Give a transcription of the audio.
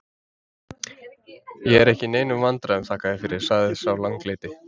Ég er ekki í neinum vandræðum, þakka þér fyrir, sagði sá langleiti.